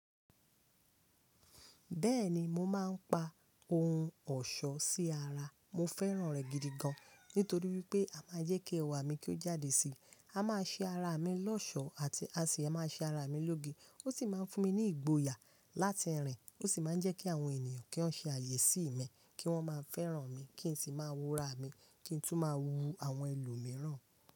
Bẹ́ẹ̀ni mo máa ń pa ohun ọ̀ṣọ́ sí ara, mo fẹ́ràn rẹ̀ gidi gan. Nítorí pé a máa ń jẹ́ kí ẹwà mi kí ó jáde sí i, a máa ṣe ara mi lọ́ṣọ̀ọ́ àti a sì máa ṣe ara mi lóge. Ó sì máa ń fún mi ní ìgboyà láti rìn, ó sì máa ń jẹ́ kí àwọn ènìyàn kí wọ́n ṣe àyè sí mi, kí wọ́n máa fẹ́ràn mi, kí n sì máa wúra mi, kí n tún máa wu àwọn ẹlòmíràn.